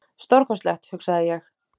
Stórkostlegt, hugsaði ég.